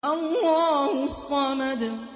اللَّهُ الصَّمَدُ